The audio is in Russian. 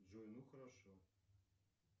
джой ну хорошо